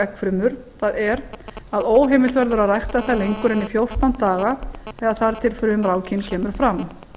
eggfrumur það er að heimilt verður að rækta þær lengur en í fjórtán daga eða þar til frumrákin kemur fram